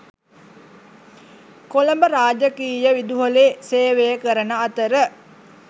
කොළඹ රාජකීය විදුහලේ සේවය කරන අතර